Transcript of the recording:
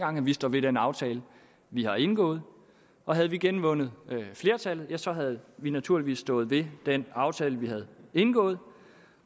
gange vi står ved den aftale vi har indgået og havde vi genvundet flertallet havde vi naturligvis stået ved den aftale vi har indgået